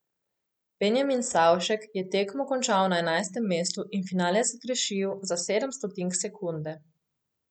Benjamin Savšek je tekmo končal na enajstem mestu in finale zgrešil za sedem stotink sekunde.